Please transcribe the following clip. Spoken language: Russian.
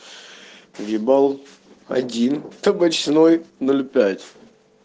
въебал один табачной ноль пять